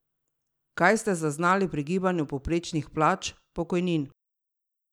Kaj ste zaznali pri gibanju povprečnih plač, pokojnin?